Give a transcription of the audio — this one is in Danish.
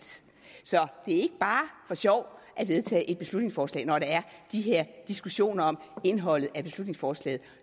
så det er ikke bare for sjov at vedtage et beslutningsforslag når der er de her diskussioner om indholdet af beslutningsforslaget